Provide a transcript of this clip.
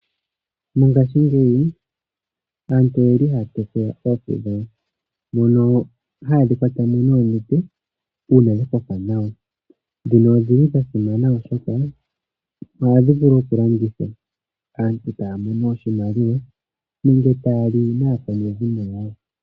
Mongashingeyi aantu oyeli haya tekula oohi dhawo haye dhi kwata mo noonete ,odhili dha simana oshoka oha vulu okudhi landitha ya mone iiyemo nenge yalye naakwanezimo lyawo.